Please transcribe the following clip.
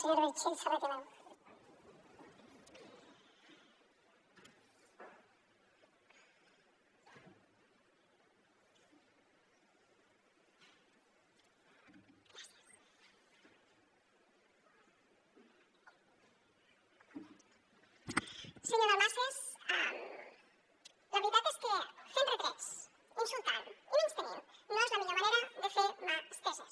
senyor dalmases la veritat és que fent retrets insultant i menystenint no és la millor manera de fer mà estesa